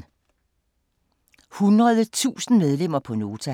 100.000 medlemmer på Nota